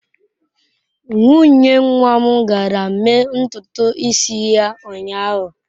Nwunye nwa m gara mee ntutu isi ya ụnyahụ.